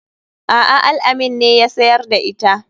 A'a al-amin ne ya siyar da ita.